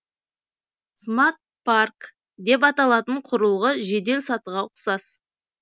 смарт парк деп аталатын құрылғы жеделсатыға ұқсас